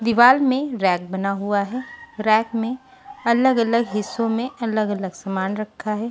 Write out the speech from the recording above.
दीवार में रैक बना हुआ है रैक में अलग-अलग हिस्सों में अलग-अलग सामान रखा है।